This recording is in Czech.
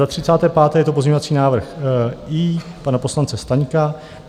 Za 35. - je to pozměňovací návrh I pana poslance Staňka.